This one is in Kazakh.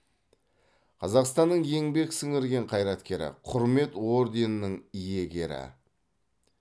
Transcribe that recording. қазақстанның еңбек сіңірген қайраткері құрмет орденінің иегері